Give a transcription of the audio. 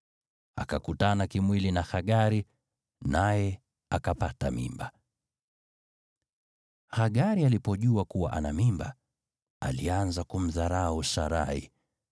Akakutana kimwili na Hagari, naye akapata mimba. Hagari alipojua kuwa ana mimba, alianza kumdharau Sarai.